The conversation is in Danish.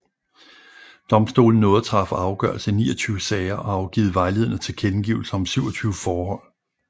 Domstolen nåede at træffe afgørelse i 29 sager og afgive vejledende tilkendegivelser om 27 forhold